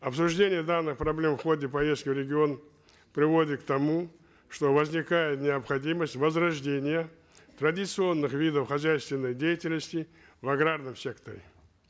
обсуждение данных проблем в ходе поездки в регион приводит к тому что возникает необходимость возрождения традиционных видов хозяйственной деятельности в аграрном секторе